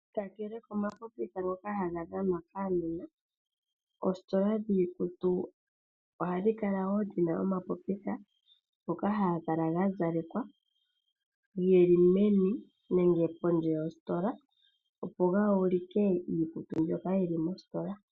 Kakele komapopitha ngoka haga dhanwa kuunona, oositola dhiikutu ohadhi kala woo dhina omapopitha ngoka haga kala gazelekwa geli meni nenge pondje yositola opo ga ulike iikutu mbyoka yi li meni lyositola.